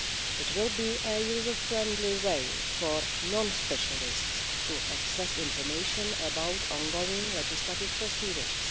It will be a user friendly way for non specialists to access information about ongoing legislative proceedings.